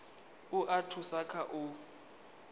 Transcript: u a thusa kha u